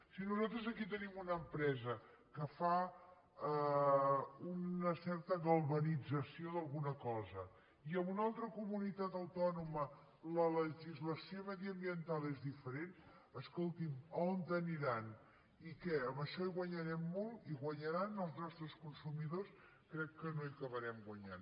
si nosaltres aquí tenim una empresa que fa una certa galvanització d’alguna cosa i en una altra comunitat autònoma la legislació mediambiental és diferent escolti on aniran i què amb això hi guanyarem molt hi guanyaran els nostres consumidors crec que no hi acabarem guanyant